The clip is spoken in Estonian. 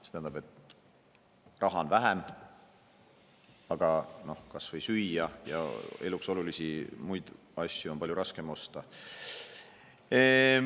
See tähendab, et raha on vähem, mistõttu kas või süüa ja muid eluks olulisi asju on palju raskem osta.